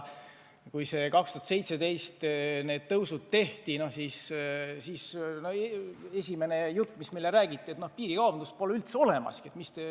Kui 2017. aastal need tõusud tehti, siis esimene jutt, mis järgnes, oli, et piirikaubandust pole üldse olemas.